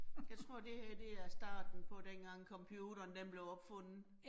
Jeg tror det her det er starten på dengang computeren den blev opfundet